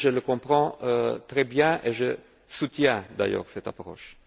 Je le comprends très bien et je soutiens d'ailleurs cette approche.